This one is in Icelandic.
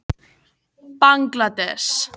Bangladess